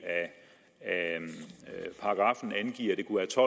af paragraffen angiver